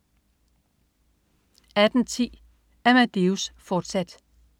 18.10 Amadeus, fortsat